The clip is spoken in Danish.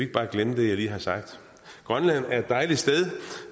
bare glemme det jeg lige har sagt grønland er et dejligt sted